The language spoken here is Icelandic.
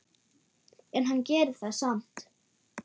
En hann gerir það samt.